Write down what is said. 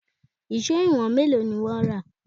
Èṣó ìwọ̀n mélòó ni wọ́n rà?